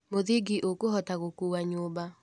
Mũthingi ũkũhota gũkuwa nyũmba.